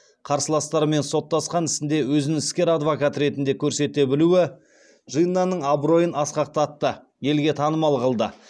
қарсыластарымен соттасқан ісінде өзін іскер адвокат ретінде көрсете білуі джиннаның абыройын асқақтатты елге танымал қылды